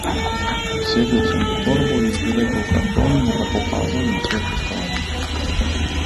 Segel sem v torbo, izvlekel karton, mu ga pokazal in spet pospravil.